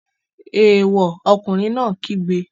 Èèwọ̀! Ọkùnrin náà kígbe.